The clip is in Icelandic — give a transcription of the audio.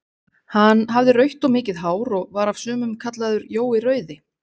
Hann hafði rautt og mikið hár, og var af sumum kallaður Jói rauði.